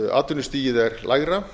atvinnustigið er lægra